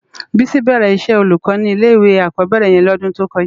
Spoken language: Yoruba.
Bisi bèrè iṣè ólúkò ni ilé iwé ákòbèrè yèn lòdun tókòjá